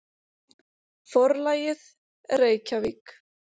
Forlagið: Reykjavík.